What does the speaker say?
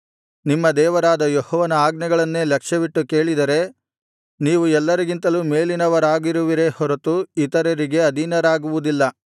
ನಿಮ್ಮ ದೇವರಾದ ಯೆಹೋವನ ಆಜ್ಞೆಗಳನ್ನೇ ಲಕ್ಷ್ಯವಿಟ್ಟು ಕೇಳಿದರೆ ನೀವು ಎಲ್ಲರಿಗಿಂತಲೂ ಮೇಲಿನವರಾಗಿರುವಿರೇ ಹೊರತು ಇತರರಿಗೆ ಅಧೀನರಾಗುವುದಿಲ್ಲ